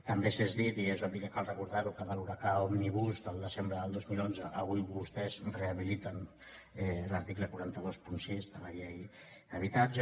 també s’ha dit i és obvi que cal recordar ho que de l’huracà òmnibus del desembre del dos mil onze avui vostès rehabiliten l’article quatre cents i vint sis de la llei d’habitatge